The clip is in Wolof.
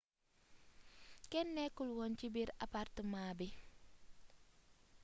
kenn nekkul oon ci biir apartamaa bi